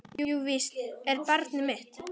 Jú, víst er barnið mitt.